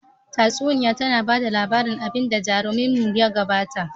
Tatsuniya tana ba da labarin abin da jaruminmu ya gabata